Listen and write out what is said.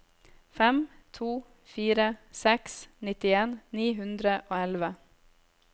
fem to fire seks nittien ni hundre og elleve